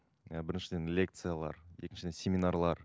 і біріншіден лекциялар екіншіден семинарлар